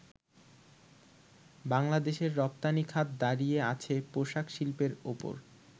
বাংলাদেশের রপ্তানিখাত দাঁড়িয়ে আছে পোশাক শিল্পের ওপর।